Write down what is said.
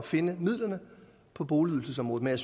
finde midlerne på boligydelsesområdet men